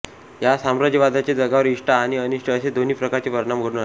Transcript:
या साम्राज्यवादाचे जगावर इष्ट आणि अनिष्ट असे दोन्ही प्रकारचे परिणाम घडून आले